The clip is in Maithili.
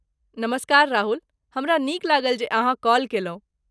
नमस्कार, राहुल! हमरा नीक लागल जे अहाँ कॉल केलहुँ।